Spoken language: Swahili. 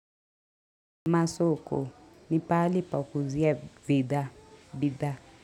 Masoko, ni pahali pa kuuzia vida, bidhaa.